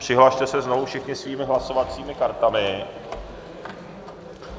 Přihlaste se znovu všichni svými hlasovacími kartami.